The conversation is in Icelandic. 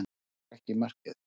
Hann sá ekki markið